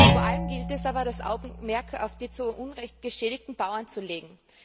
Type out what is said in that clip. Vor allem gilt es aber, das Augenmerk auf die zu Unrecht geschädigten Bauern zu richten.